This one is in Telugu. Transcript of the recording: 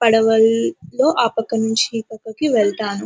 పడవల్లో ఆ పక్క నుంచి ఈ పక్కకి వెళ్తాను.